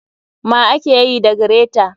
ma akeyi da greta.